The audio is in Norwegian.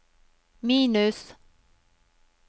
minus